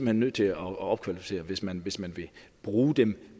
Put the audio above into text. hen nødt til at opkvalificere hvis man hvis man vil bruge dem